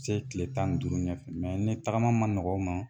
Se tile tan ni duuru ɲɛfɛ ne tagama ma nɔgɔn u ma